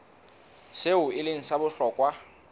seo e leng sa bohlokwa